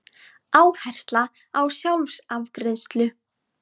Áhersla á sjálfsafgreiðslu